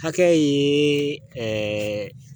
Hakɛ ye